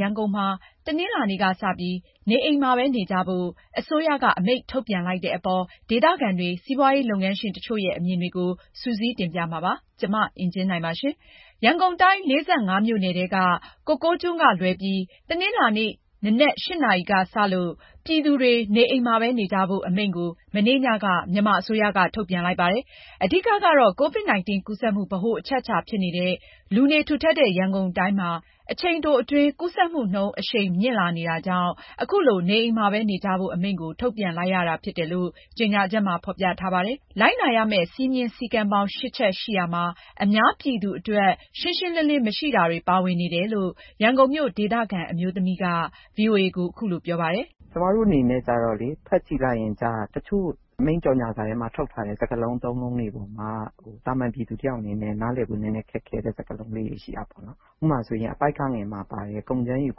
ရန်ကုန်မှာ တနင်္လာနေ့ကစပြီး နေအိမ်မှာပဲနေကြဖို့ အစိုးရအမိန့် ထုတ်ပြန်လိုက်တဲ့အပေါ် ဒေသခံတွေ၊ စီးပွားရေးလုပ်ငန်းရှင်တချို့ရဲ့ အမြင်တွေကို မအင်ကြင်းနိုင်က စုစည်းတင်ပြထားပါတယ်။ ရန်ကုန်တိုင်း ၄၅ မြို့နယ်ထဲက ကိုကိုးကျွန်းကလွဲပြီး တနင်္လာနေ့မနက် ၈ နာရီကစလို့ ပြည်သူတွေ နေအိမ်မှာပဲ နေကြဖို့ အမိန့်ကို မနေ့ညက မြန်မာအစိုးရက ထုတ်ပြန်လိုက်ပါတယ်။ အဓိကကတော့ COVID-19 ကူးစက်မှု ဗဟိုအချက်အချာဖြစ်နေတဲ့ လူနေထူထပ်တဲ့ ရန်ကုန်တိုင်းမှာ အချိန်တိုအတွင်း ကူးစက်မှုနှုန်း အရှိန်မြင့်လာနေတာကြောင့် အခုလို နေအိမ်မှာနေကြဖို့ အမိန့်ကို ထုတ်ပြန်ရတာဖြစ်တယ်လို့ ကြေညာချက်မှာ ဖော်ပြထားပါတယ်။ လိုက်နာရမယ့် စည်းမျဉ်းစည်းကမ်းပေါင်း ၈ ချက်ရှိရာမှာ အများပြည်သူအတွက် ရှင်းရှင်းလင်းလင်း မရှိတာတွေ ပါဝင်နေတယ်လို့ ရန်ကုန်မြို့ ဒေသခံ အမျိုးသမီးတဦးက ဗွီအိုအေကို အခုလို ပြောပါတယ်။ “ကျမတို့အနေနဲ့ ဖတ်ကြည့်လိုက်ရင် တချို့အမိန့်ကြော်ငြာစာထဲမှာ ထုတ်ထားတဲ့ စကားလုံး အသုံးအနှုန်းတွေပေါ်မှာ သာမန်ပြည်သူတယောက်အနေနဲ့ နားလည်ဖို့ ခက်ခဲတဲ့ စကားလုံးလေးတွေ ရှိတာပေါ့။ ဥပမာ အပိုဒ် ဂ မှာပါတဲ့ ကုန်ကြမ်းယူ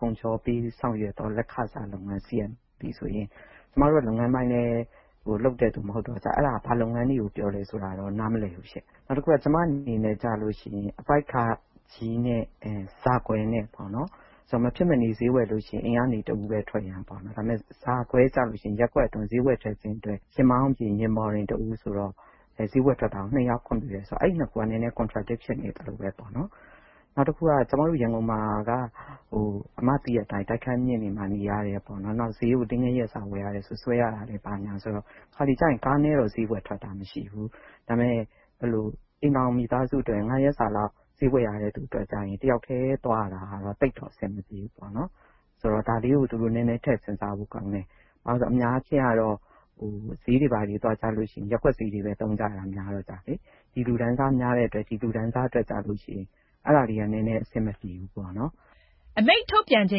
ကုန်ချောပေး ဆောင်ရွက်သော လက်ခစားလုပ်ငန်း CMP ဆိုရင် ကျမတို့က လုပ်ငန်းပိုင်းလည်း လုပ်တဲ့သူ မဟုတ်တော့ အဲဒါ ဘာလုပ်ငန်းတွေကို ပြောလဲဆိုတာတော့ နားမလည်ဘူးရှင့်။ နောက်တခုက ကျမအနေနဲ့ဆိုရင် အပိုဒ် ဃ နဲ့ ဇ ပေါ့။ မဖြစ်မနေ ဈေးဝယ်လို့ရှိရင် အိမ်ကနေ တဦးပဲထွက်ရန်ပေါ့၊ ဒါပေမယ့် ဇ ကွဲကျရင် ရပ်ကွက်အတွင်း ဈေးဝယ်ထွက်ခြင်းအတွက် ယာဉ်မောင်းအပြင် ယာဉ်ပေါ်တွင် တဦးဆိုတော့ ဈေးဝယ်ထွက်တာကို နှစ်ယောက် ခွင့်ပြုတယ်ဆိုတော့ အဲဒီနှစ်ခုက နည်းနည်း Contradict ဖြစ်နေသလိုပဲပေါ့။ “နောက်တခုက ရန်ကုန်မှာက တိုက်ခန်းအမြင့်တွေမှာ နေရတယ်။ နောက် ဈေးကို တရက်စာဝယ်ရတယ်ဆိုရင် ဆွဲရတာနဲ့၊ တခါတလေကျရင် ကားနဲ့တော့ ဈေးဝယ်ထွက်တာမရှိဘူး။ ဒါပေမယ့် မိသားစုအတွက် ငါးရက်စာလောက် ဈေးဝယ်ရတဲ့သူအတွက်ကျရင် တယောက်တည်း သွားရတာ သိပ်တော့အဆင်မပြေဘူး။ ဒါလေးကို သူတို့ နည်းနည်း ထည့်စဉ်းစားဖို့ကောင်းတယ်။ ဘာဖြစ်လို့လဲဆိုတော့ အများအားဖြင့် ဈေးတွေဘာတွေ သွားရင် ရပ်ကွက်ဈေးတွေပဲ သုံးကြတာများတော့လေ။ ဒီလူတန်းစား များတဲ့အတွက် ဒီလူတန်းစားအတွက် အဲဒါလေးက နည်းနည်း အဆင်မပြေဘူး။” အမိန့်ထုတ်ပြန်ချိ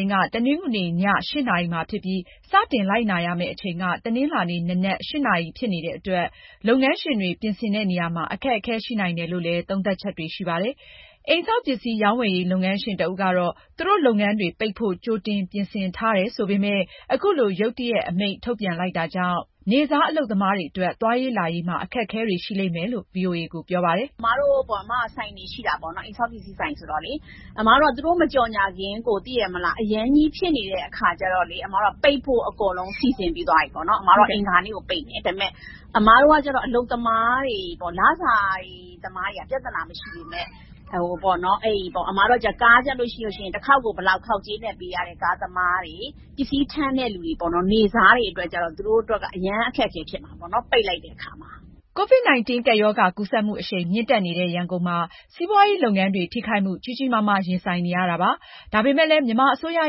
န်က တနင်္ဂနွေည ၈ နာရီမှာဖြစ်ပြီး စတင်လိုက်နာရမယ့် အချိန်က တနင်္လာနေ့ မနက် ၈ နာရီဖြစ်နေတဲ့အတွက် လုပ်ငန်းရှင်တွေ ပြင်ဆင်တဲ့နေရာမှာ အခက်အခဲ ရှိနိုင်တယ်လို့လည်း သုံးသပ်ချက်တွေ ရှိပါတယ်။ အိမ်ဆောက်ပစ္စည်း ရောင်းဝယ်ရေး လုပ်ငန်းရှင်တဦးကတော့ သူတို့လုပ်ငန်းတွေ ပိတ်ဖို့ ကြိုတင်ပြင်ဆင်ထားတယ် ဆိုပေမယ့် အခုလို ရုတ်တရက် အမိန့်ထုတ်ပြန်လိုက်တာကြောင့် နေ့စားအလုပ်သမားတွေအတွက် သွားရေးလာရေးမှာ အခက်အခဲတွေ ရှိလိမ့်မယ်လို့ ဗွီအိုအေကို ပြောပါတယ်။ “အမတို့က ဆိုင်တွေရှိတယ်၊ အိမ်ဆောက်ပစ္စည်းဆိုင်ဆိုတော့ အမတို့က သူတို့ မကြော်ငြာခင် အရမ်းကြီး ဖြစ်နေတဲ့အခါကြတော့ ပိတ်ဖို့ အကုန်လုံး စီစဉ်ပြီးသွားပြီ၊ အင်္ဂါနေ့ကို ပိတ်မယ်။ ဒါပေမယ့် အလုပ်သမားတွေ လစာသမားတွေက ပြဿနာမရှိပေမယ့် ကားကျရင် တခေါက်ကို ဘယ်လောက်ဆိုပြီး ခေါက်ကြေးနဲ့ပေးရတဲ့ ကားသမားတွေ၊ ပစ္စည်းထမ်းတဲ့ နေ့စားတွေအတွက်ကျတော့ သူတို့ အရမ်းအခက်အခဲတွေ ဖြစ်မှာပေါ့၊ ပိတ်လိုက်တဲ့အခါမှာ။” COVID-19 ကပ်ရောဂါကူးစက်မှု အရှိန်မြင့်တက်နေတဲ့ ရန်ကုန်မှာ စီးပွားရေးလုပ်ငန်းတွေ ထိခိုက်မှု ကြီးကြီးမားမား ရင်ဆိုင်နေရတာပါ။ ဒါပေမယ့်လည်း မြန်မာအစိုးရ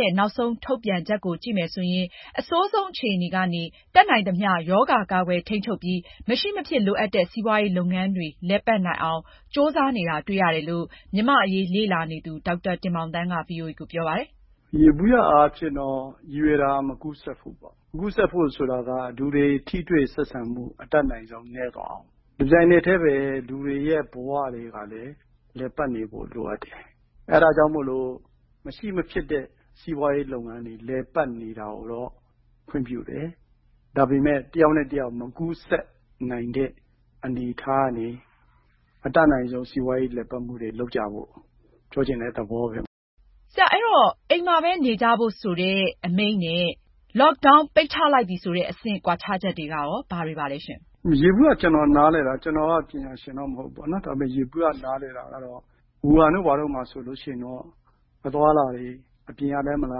ရဲ့ နောက်ဆုံးထုတ်ပြန်ချက်ကို ကြည့်မယ်ဆိုရင် အဆိုးဆုံးအခြေအနေကနေ တတ်နိုင်သမျှ ရောဂါကာကွယ်ထိန်းချုပ်ပြီး မရှိမဖြစ်လိုအပ်တဲ့ စီးပွားရေးလုပ်ငန်းတွေ လည်ပတ်နိုင်အောင် ကြိုးစားနေတာ တွေ့ရတယ်လို့ မြန်မာ့အရေးလေ့လာနေသူ ဒေါက်တာတင်မောင်သန်းက ဗွီအိုအေကို ပြောပါတယ်။ “ယေဘုယျအားဖြင့်တော့ ရည်ရွယ်တာ မကူးစက်ဖို့ပေါ့။ မကူးစက်ဖို့ ဆိုတာက လူတွေ ထိတွေ့ဆက်ဆံမှု အတတ်နိုင်ဆုံး နည်းသွားအောင်။ တပြိုင်နက်တည်းပဲ လူတွေရဲ့ ဘဝတွေကလည်း လည်ပတ်နေဖို့ လိုအပ်တယ်။ အဲဒါကြောင့် မရှိမဖြစ်တဲ့ စီးပွားရေးလုပ်ငန်းတွေ လည်ပတ်နေတာကိုတော့ ခွင့်ပြုတယ်။ ဒါပေမယ့် တယောက်နဲ့တယောက် မကူးစက်နိုင်တဲ့ အနေအထားကနေ အတတ်နိုင်ဆုံး စီးပွားရေးလည်ပတ်မှုတွေ လုပ်ကြဖို့ ပြောချင်တဲ့သဘောပဲ။” မအင်ကြင်းနိုင် - အိမ်မှာပဲနေကြဖို့ဆိုတဲ့ အမိန့်နဲ့ Lockdown ပိတ်ချလိုက်ပြီဆိုတဲ့ အဆင့် ကွာခြားချက်တွေက ဘာတွေပါလဲ။ ဒေါက်တာတင်မောင်သန်း - “ယေဘုယျ ကျနော်နားလည်တာ၊ ကျနော်က ပညာရှင်တော့ မဟုတ်ဘူးပေါ့၊ ဝူဟန်တို့ ဘာတို့မှာဆိုရင်တော့ အသွားအလာတွေ အပြင်ကလည်း မလာ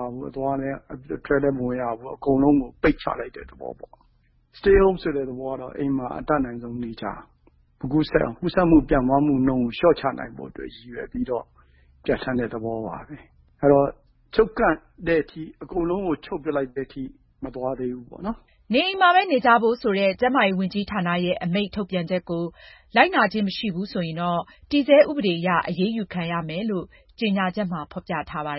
ရဘူး၊ အထဲလည်း မဝင်ရဘူး၊ အကုန်လုံးကို ပိတ်ချလိုက်တဲ့ သဘောပေါ့။ Stay Home ဆိုတဲ့ သဘောကတော့ အိမ်မှာ အတတ်နိုင်ဆုံး နေကြရမယ်။ မကူးစက်အောင်၊ ကူးစက်မှု ပြန့်ပွားမှုနှုန်းကို လျှော့ချနိုင်ဖို့အတွက် ရည်ရွယ်ပြီးတော့ ပြဋ္ဌာန်းတဲ့သဘောပါပဲ။ အဲတော့ အကုန်လုံးကို ချုပ်ပစ်လိုက်တဲ့အထိ မသွားသေးဘူးပေါ့။” နေအိမ်မှာပဲ နေကြဖို့ဆိုတဲ့ ကျန်းမာရေးဝန်ကြီးဌာနရဲ့ အမိန့်ထုတ်ပြန်ချက်ကို လိုက်နာခြင်း မရှိဘူးဆိုရင် တည်ဆဲဥပဒေအရ အရေးယူခံရမယ်လို့ ဖော်ပြထားပါတယ်